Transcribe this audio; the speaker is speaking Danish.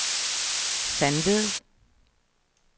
Sandved